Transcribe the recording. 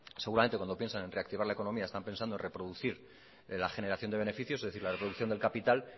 seguramente cuando piensan en reactivar la economía están pensando en reproducir la generación de beneficios es decir la reproducción del capital